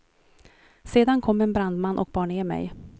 Sedan kom en brandman och bar ner mig.